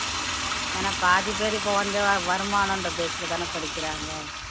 ஏன்னா பாதி பேர் இப்ப வந்து வருமானம்ன்ற base லதானே படிக்கிறாங்க